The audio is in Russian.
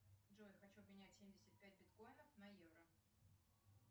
джой хочу обменять семьдесят пять биткоинов на евро